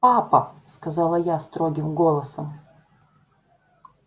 папа сказала я строгим голосом